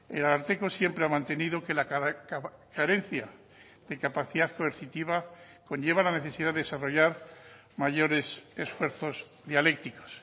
el ararteko siempre ha mantenido que la carencia de capacidad coercitiva conlleva la necesidad de desarrollar mayores esfuerzos dialécticos